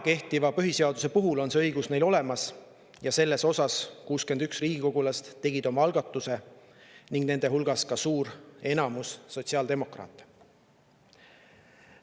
Kehtiva põhiseaduse järgi on see õigus neil olemas ja selle kohta tegid 61 riigikogulast oma algatuse, nende hulgas ka sotsiaaldemokraatide enamus.